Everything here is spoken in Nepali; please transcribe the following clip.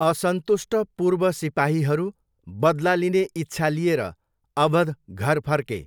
असन्तुष्ट पूर्व सिपाहीहरू बदला लिने इच्छा लिएर अवध घर फर्के।